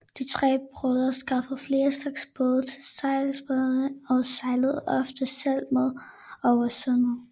De tre brødre skaffede flere slags både til sejladserne og sejlede ofte selv med over sundet